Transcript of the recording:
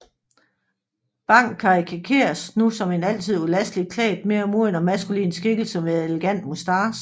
Bang karikeredes nu som en altid ulasteligt klædt mere moden og maskulin skikkelse med elegant moustache